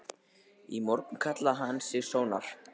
Í morgun kallaði hann sig Sónar.